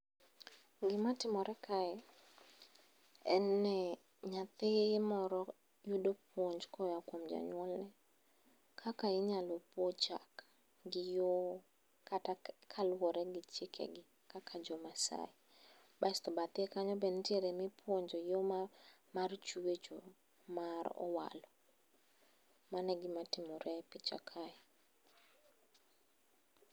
Gimatimore kae en ni nyathi moro yudo puonj koa kuom jonyuolne. Kaka inyalo pwo chak gi yo kata kaluwore gi chikegi kaka jo Maasai. Basto bathe kanyo benitiere mipuonjo yo mar chwecho mar owalo. Mano egima timore e picha kae.